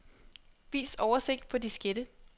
Vis oversigt på diskette.